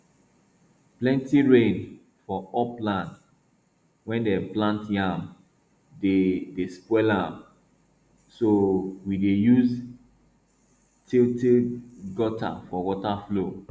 plenty rain for upland wey dem plant yam dey dey spoil am so we dey use tilting gutter for water flow